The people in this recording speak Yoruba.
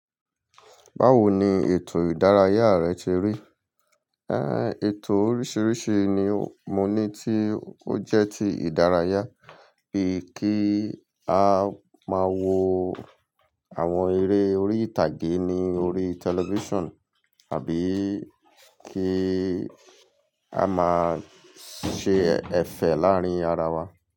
Báwo ni ètò ìdárayá rẹ ti rí? Éh, ètò oríṣiríṣi ni mo ní tí ó jẹ́ ti ìdárayá bíi kí a máa wo àwọn eré orí ìtàgé ní orí television àbí kí a máa ṣe ẹ̀fẹ̀ láàrin ara wa.